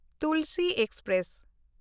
Tulsi express